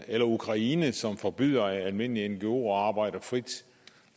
eller ukraine som forbyder almindelige ngoer at arbejde frit